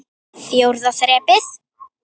Fjórða þrepið.